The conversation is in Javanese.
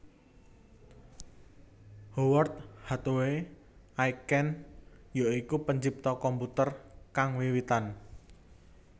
Howard Hathaway Aiken ya iku pencipta komputer kang wiwitan